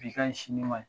Bi ka ɲi sini ma